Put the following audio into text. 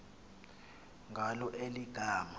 ngalo eli gama